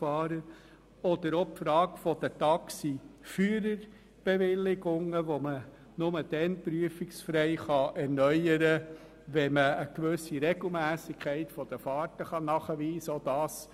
Eine weitere Frage sind die Taxiführerbewilligungen, die man nur dann prüfungsfrei erneuern kann, wenn man eine gewisse Regelmässigkeit der Fahrten nachweisen kann.